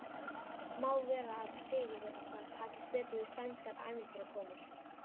Má vera að Sigurði okkar takist betur við sænskar ævintýrakonur.